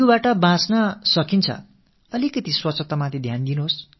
dengue காய்ச்சலிலிருந்து நாம் நம்மைத் தற்காத்துக் கொள்ள முடியும்